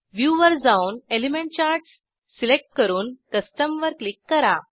view वर जाऊन element charts select करून कस्टम वर क्लिक करा